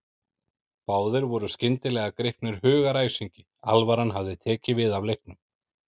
Báðir voru skyndilega gripnir hugaræsingi, alvaran hafði tekið við af leiknum.